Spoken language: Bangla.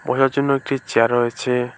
বসার জন্য একটি চেয়ার রয়েছে।